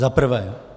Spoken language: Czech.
Za prvé.